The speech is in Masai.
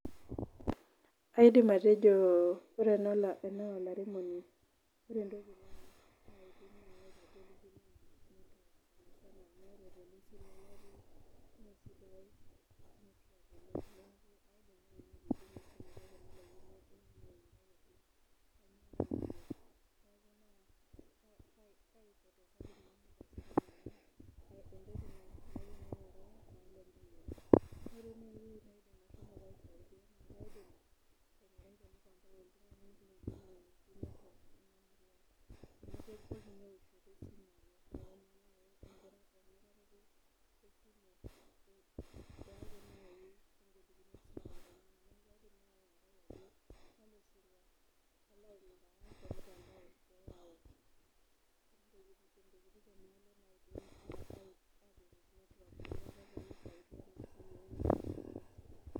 Kaidim atejo ore ena na olaremoni ore entoki pause